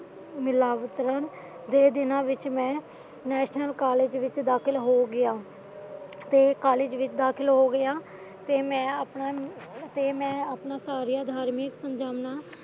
ਮਿਲਾ ਵਿਚਰਨ ਦੋ ਦਿਨਾਂ ਵਿਚ ਮੈਂ ਨੈਸ਼ਨਲ ਕਾਲਜ ਵਿਚ ਦਾਖਲਾ ਹੋਗਿਆ ਤੇ ਕਾਲਜ ਵਿੱਚ ਦਾਖਲਾ ਹੋਗਿਆ ਫੇਰ ਮੈਂ ਆਪਣਾ ਸਾਰਾ ਧਾਰਮਿਕ